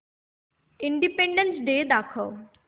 independence day दाखव